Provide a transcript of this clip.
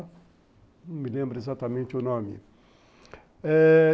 Não me lembro exatamente o nome.